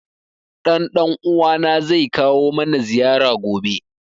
Ɗan ɗan uwa na zai kawo mana ziyara gobe